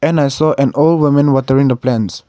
and so an old woman watering the plants.